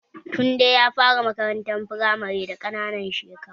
Tunde ya fara makaranta firamare da ƙananan shekaru